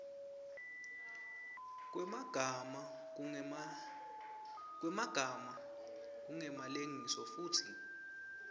kwemagama kungemalengiso futsi